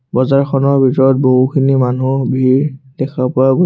বজাৰখনৰ ভিতৰত বহুখিনি মানুহৰ ভিৰ দেখা পোৱা গৈ--